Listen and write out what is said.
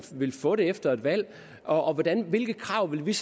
vil få det efter et valg og hvilke krav vi vil